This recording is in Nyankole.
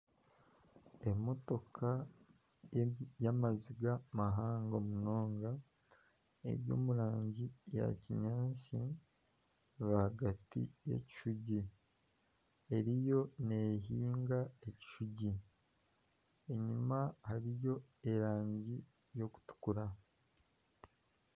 Emotoka y'amazinga mahango munonga eri omu rangi yaakinyaatsi rwagati y'ekishugi eriyo neehinga ekishugi, enyima hariyo erangi y'okutukura